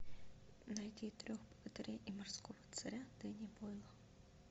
найди трех богатырей и морского царя денни бойла